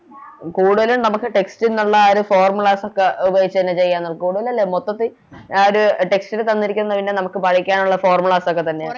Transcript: കൂടുതലും നമുക്ക് Text ഉള്ള ആ ഒര് Formula ഉപയോഗിച്ച് തന്നെ ചെയ കൂടുതലല്ല മൊത്തത്തി ആ ഒരു Text ൽ തന്നിരിക്കുന്നെ പിന്നെ നമുക്ക് പഠിക്കാനൊള്ള Formulas ഒക്കെ തന്നെയാ